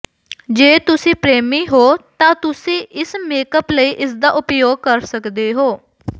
ਜੇ ਤੁਸੀਂ ਪ੍ਰੇਮੀ ਹੋ ਤਾਂ ਤੁਸੀਂ ਇਸ ਮੇਕਅਪ ਲਈ ਇਸਦਾ ਉਪਯੋਗ ਕਰ ਸਕਦੇ ਹੋ